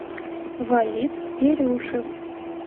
валид дерюшев